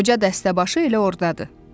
Qoca dəstəbaşı elə orda.